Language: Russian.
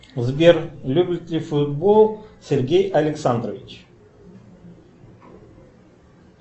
сбер любит ли футбол сергей александрович